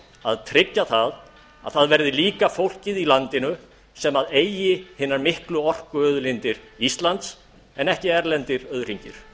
að tryggja það að það verði líka fólkið í landinu sem eigi hinar miklu orkuauðlindir íslands en ekki erlendir auðhringir